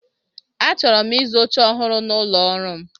Achọrọ m ịzụ oche ọhụrụ n'ụlọ ọrụ m.